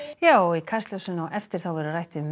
já í Kastljósinu á eftir verður rætt við